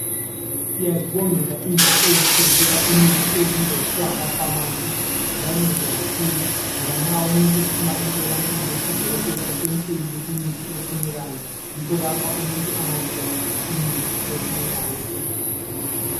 Siyazibongela indawo ezisithengisela imithi ezibizwa kuthiwa ngamafamasi. Ziyanceda kakhulu, ngoba nxa umuntu ephuma emtholampilo udokotela esemtshelile imithi efunekayo, yikho lapha umuntu angazuza khona imithi efunekayo ukuze asile.